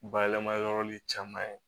Bayɛlɛma yɔrɔ ni caman ye